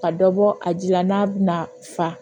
Ka dɔ bɔ a ji la n'a bɛna fa